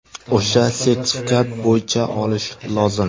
O‘sha sertifikat bo‘yicha olish lozim.